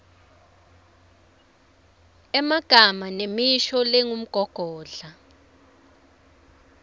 emagama nemisho lengumgogodla